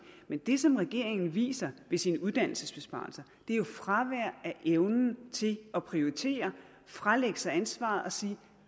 men det som regeringen viser med sine uddannelsesbesparelser er jo fravær af evnen til at prioritere fralægge sig ansvaret og sige